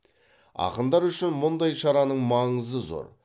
ақындар үшін мұндай шараның маңызы зор